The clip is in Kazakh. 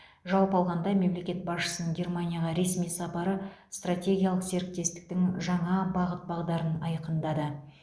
жалпы алғанда мемлекет басшысының германияға ресми сапары стратегиялық серіктестіктің жаңа бағыт бағдарын айқындады